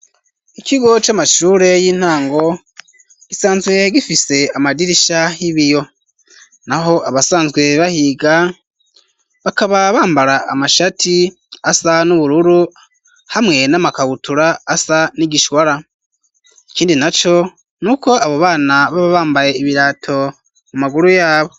Ikigo c'amashure y'intango gisanzwe gifise amadirisha y'ibiyo naho abasanzwe bahiga bakaba bambara amashati asa n'ubururu hamwe n'amakabutura asa n'igishwara ikindi naco nuko abo bana baba bambaye ibirato mu maguru yabo.